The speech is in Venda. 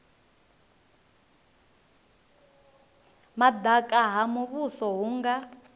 madaka ha muvhuso hu nga